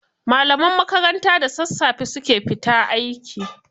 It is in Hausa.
Malaman makaranta da sassafe su ke fita aiki.